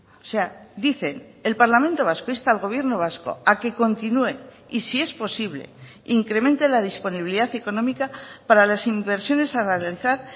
o sea dicen el parlamento vasco insta al gobierno vasco a que continúe y si es posible incremente la disponibilidad económica para las inversiones a realizar